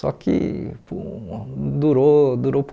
Só que hum durou durou